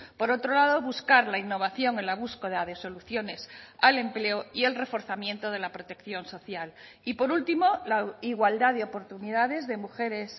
por otro lado buscar la innovación en la búsqueda de soluciones al empleo y el reforzamiento de la protección social y por último la igualdad de oportunidades de mujeres